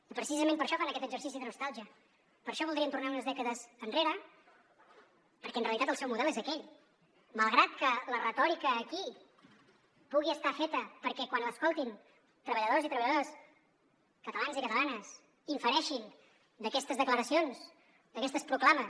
i precisament per això fan aquest exercici de nostàlgia per això voldrien tornar unes dècades enrere perquè en realitat el seu model és aquell malgrat que la retòrica aquí pugui estar feta perquè quan l’escoltin treballadors i treballadores catalans i catalanes i infereixin d’aquestes declaracions d’aquestes proclames